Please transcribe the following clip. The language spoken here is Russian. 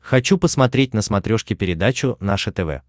хочу посмотреть на смотрешке передачу наше тв